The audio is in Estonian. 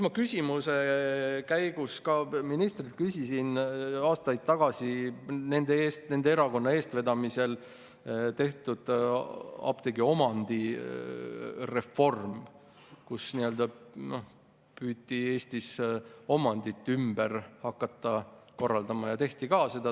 Ma küsimuste käigus küsisin ka ministrilt nende erakonna eestvedamisel aastaid tagasi tehtud apteekide omandireformi kohta, millega püüti Eestis ümber hakata korraldama ja seda tehti ka.